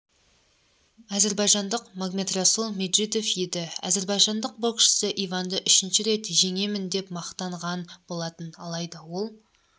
әзербайжандық магомедрасул меджидов еді әзербайжандық боксшы иванды үшінші рет жеңемін деп мақтанған болатын алайда ол